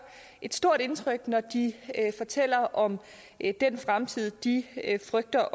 et stort indtryk når de fortæller om den fremtid de frygter